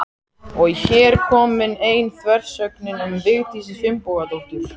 Og er hér komin ein þversögnin um Vigdísi Finnbogadóttur.